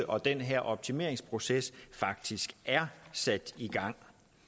og den her optimeringsproces faktisk er sat i gang